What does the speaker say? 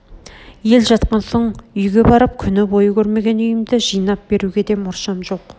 ел жатқан соң үйге барып күн бойы көрмеген үйімді жинап беруге де мұршам жоқ